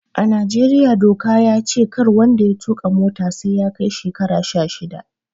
A Najeriya doka ya ce kar wanda ya tuƙa mota sai ya kai shekara sha shida